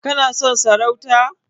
Kana son sarauta?